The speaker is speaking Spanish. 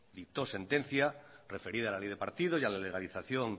dictó sentencia referida a la ley de partidos y a la legalización